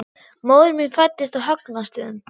Móðir mín fæddist á Högna- stöðum.